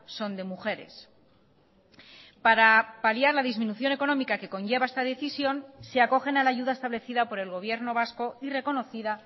son de mujeres para paliar la disminución económica que conlleva esta decisión se acogen a la ayuda establecida por el gobierno vasco y reconocida